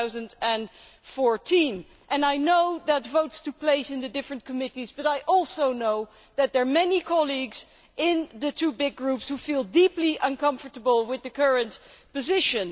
2014. I know that votes took place in the different committees, but I also know that there are many colleagues in the two big groups who feel deeply uncomfortable with the current position.